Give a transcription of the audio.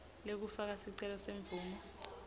lekufaka sicelo semvumo